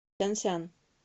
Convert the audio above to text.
сянсян